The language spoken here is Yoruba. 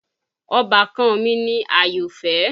Ọbàkan mi ni Àyọ̀fẹ́